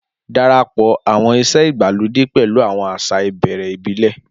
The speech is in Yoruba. Darapọ̀ àwọn ìṣe ìgbàlódé pẹ̀lú àwọn àṣà ìbẹ̀rẹ̀ ìbílẹ̀.